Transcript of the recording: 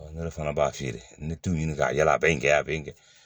Ne de fana b'a feere n bɛ tu ɲini ka yala a bɛ n kɛ a bɛ n kɛ